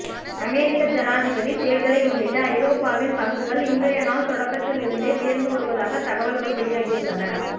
அமெரிக்க ஜனாதிபதி தேர்தலை முன்னிட்டு ஐரோப்பாவின் பங்குகள் இன்றைய நாள் தொடக்கத்தில் இருந்தே உயர்ந்து வருவதாக தகவல்கள் வெளியாகியுள்ளன